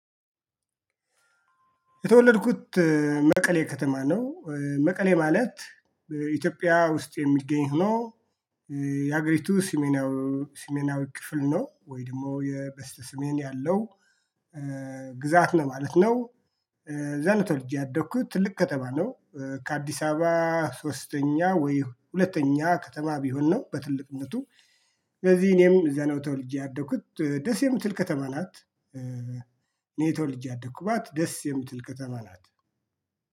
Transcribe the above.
የተወለድኩት መቀሌ ከተማ ነው። መቀሌ ማለት በኢትዮጵያ የሚገኝ ሁኖ። የሀገሪቱ ሰሜናዊ ሰሜናዊ ክፍል ነው ወይ ደግሞ በስተሰሜን ያለው ግዛት ነው ለማለት ነው። እዛ ነው ተወልጄ ያደግኩት ትልቅ ከተማ ነው። ከአዲስ አበባ ሶስተኛ ወይ ሁለተኛ ከተማ ቢሆን ነው በትልቅነቱ። ስለዚህ እኔም እዛ ነው ተወልጄ ያደኩት ደስ የምትል ከተማ ናት። እኔ ተወልጄ ያደኩባት ደስ የምትል ቅጠማ ናት